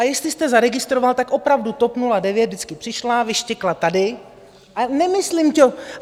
A jestli jste zaregistroval, tak opravdu TOP 09 vždycky přišla, vyštěkla tady, a nemyslím to...